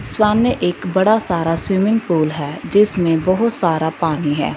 सामने एक बड़ा सारा स्विमिंग पूल है जिसमें बहोत सारा पानी है।